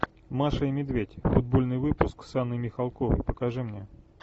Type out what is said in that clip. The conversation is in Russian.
маша и медведь футбольный выпуск с анной михалковой покажи мне